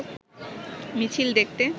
মিছিল দেখতে